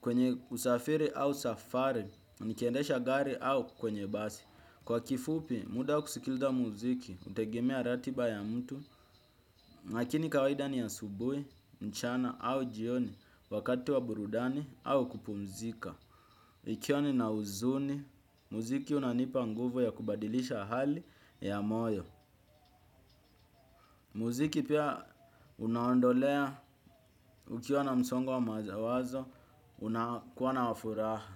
kwenye usafiri au safari, nikiendesha gari au kwenye basi. Kwa kifupi muda wa kusikiliza muziki, hutegemea ratiba ya mtu, lakini kawaida ni asubuhi, mchana au jioni wakati wa burudani au kupumzika. Nikiwa nina huzuni, muziki unanipa nguvu ya kubadilisha hali ya moyo. Muziki pia unaondolea, ukiwa na msongo wa mawazo, unakuwa na furaha.